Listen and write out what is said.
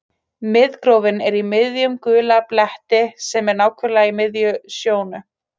Miðgrófin er í miðjum gula bletti sem er nákvæmlega í miðri sjónu.